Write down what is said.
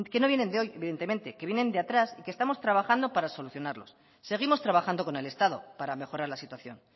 no vienen de hoy evidentemente que vienen de atrás y que estamos trabajando para solucionarlos seguimos trabajando con el estado para mejorar la situación